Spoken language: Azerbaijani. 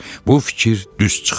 Bu fikir düz çıxdı.